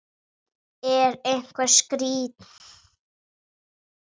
Er einhver skýring á þessu?